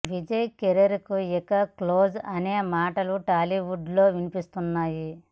Vijay career ఇక close అనే మాటలు టాలీవుడ్ లో వినిపిస్తున్నాయి